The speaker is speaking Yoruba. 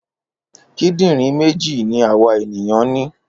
Kídìrín méjì ni àwa ènìyàn ní.